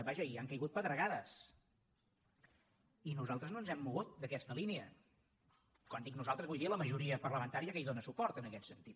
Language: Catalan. vaja i han caigut pedregades i nosaltres no ens hem mogut d’aquesta línia quan dic nosaltres vull dir la majoria parlamentària que hi dóna suport en aquest sentit